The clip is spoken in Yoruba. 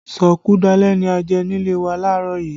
Sọkúdalẹ́ ni a jẹ nílé wa laarọ yìí